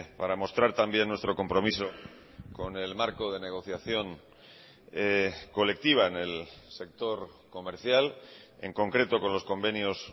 para mostrar también nuestro compromiso con el marco de negociación colectiva en el sector comercial en concreto con los convenios